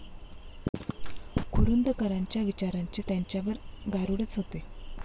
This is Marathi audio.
कुरूंदकरांच्या विचारांचे त्यांच्यावर गारूडच होते.